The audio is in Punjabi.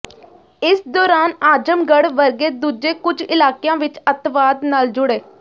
ਇਸ ਦੌਰਾਨ ਆਜਮਗੜ੍ਹ ਵਰਗੇ ਦੂਜੇ ਕੁੱਝ ਇਲਾਕਿਆਂ ਵਿੱਚ ਅੱਤਵਾਦ ਨਾਲ ਜੁੜੇ